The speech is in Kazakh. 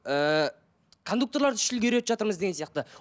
ыыы кондукторларды үш тілге үйретіп жатырмыз деген сияқты